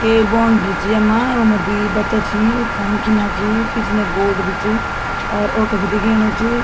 एक बाउंड्री च यम्मा वम्मा दुई बच्चा छी वू फ़ोन खिन्ना छी पिछने बोर्ड भी च और ऑटो भी दिखेणु च।